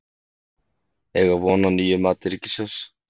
Eiga von á nýju mati ríkissjóðs